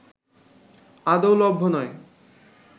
আদৌ লভ্য নয়